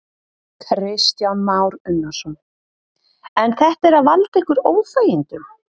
Kristján Már Unnarsson: En þetta er að valda ykkur óþægindum?